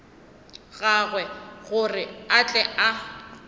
gagwe gore a tle a